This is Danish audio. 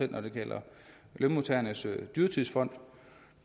når det gælder lønmodtagernes dyrtidsfond